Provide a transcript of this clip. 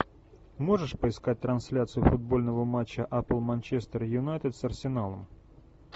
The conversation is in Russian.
можешь поискать трансляцию футбольного матча апл манчестер юнайтед с арсеналом